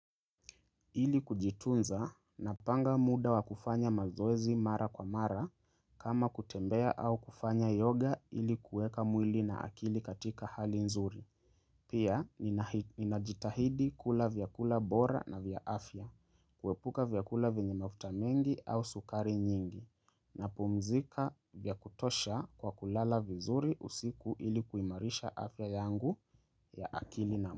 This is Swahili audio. Ili kujitunza napanga muda wa kufanya mazoezi mara kwa mara kama kutembea au kufanya yoga ili kuweka mwili na akili katika hali nzuri. Pia, ninajitahidi kula vyakula bora na vya afya, kuepuka vyakula venye mafuta mengi au sukari nyingi, napumzika vya kutosha kwa kulala vizuri usiku ili kuimarisha afya yangu ya akili na mwili.